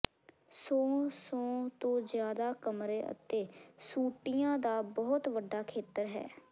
ਸੌ ਸੌ ਤੋਂ ਜ਼ਿਆਦਾ ਕਮਰੇ ਅਤੇ ਸੂਟਿਆਂ ਦਾ ਬਹੁਤ ਵੱਡਾ ਖੇਤਰ ਹੈ